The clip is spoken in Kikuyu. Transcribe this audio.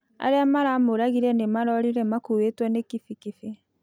Arĩa maramũragĩre nĩmarorĩre makũĩtwo nĩ kĩbĩkĩbĩ